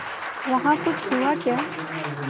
वहाँ कुछ हुआ क्या